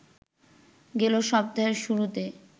গেল সপ্তাহের শুরুতে